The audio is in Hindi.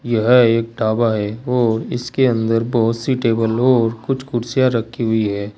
यह एक ढाबा है और इसके अंदर बहुत सी टेबलो कुछ कुर्सियां रखी हुई है।